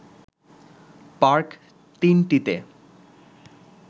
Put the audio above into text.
park ৩ টিতে